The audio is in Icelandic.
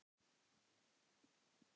Þín frænka, Hildur.